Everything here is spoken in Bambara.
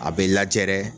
A bɛ lajɛ dɛ